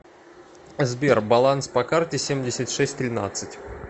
сбер баланс по карте семьдесят шесть тринадцать